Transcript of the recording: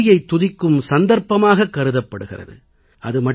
இது கல்வியைத் துதிக்கும் சந்தர்ப்பமாகக் கருதப்படுகிறது